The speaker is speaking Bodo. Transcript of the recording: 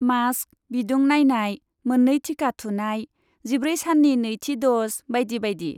मास्क, बिदुं नायनाय, मोन्नै टिका थुनाय, जिब्रै साननि नैथि द'ज, बायदि बायदि।